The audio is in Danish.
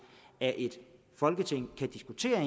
at folketinget kan diskutere